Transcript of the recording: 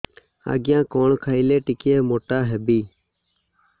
ଆଜ୍ଞା କଣ୍ ଖାଇଲେ ଟିକିଏ ମୋଟା ହେବି